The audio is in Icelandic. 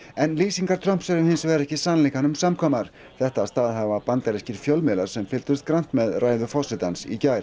en lýsingar Trumps eru hins vegar ekki sannleikanum samkvæmar þetta staðhæfa bandarískir fjölmiðlar sem fylgdust grannt með ræðu forsetans í gær